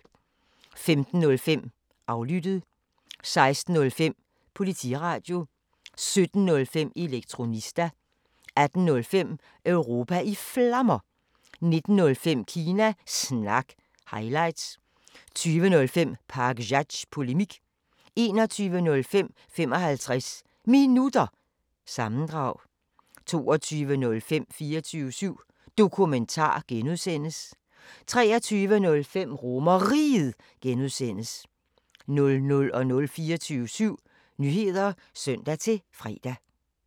15:05: Aflyttet 16:05: Politiradio 17:05: Elektronista 18:05: Europa i Flammer 19:05: Kina Snak – highlights 20:05: Pakzads Polemik 21:05: 55 Minutter – sammendrag 22:05: 24syv Dokumentar (G) 23:05: RomerRiget (G) 00:00: 24syv Nyheder (søn-fre)